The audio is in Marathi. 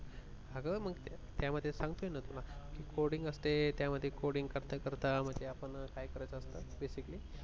अगं मंग त्यामधे सांगतोय ना तुला coding असते त्यामध्ये coding करता करता मग काय करत असतो आपण basically